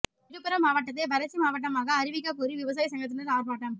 விழுப்புரம் மாவட்டத்தை வறட்சி மாவட்டமாக அறிவிக்கக் கோரி விவசாய சங்கத்தினர் ஆர்ப்பாட்டம்